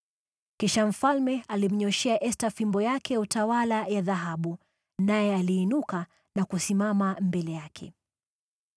Kisha mfalme alimnyooshea Esta fimbo yake ya utawala ya dhahabu naye aliinuka na kusimama mbele yake.